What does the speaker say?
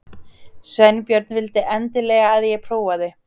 Sveinbjörn vildi endilega að ég prófaði.